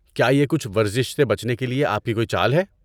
کیا یہ کچھ ورزش سے بچنے کے لیے آپ کی کوئی چال ہے؟